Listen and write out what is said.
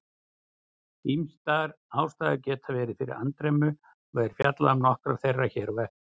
Ýmsar ástæður geta verið fyrir andremmu og er fjallað um nokkrar þeirra hér á eftir.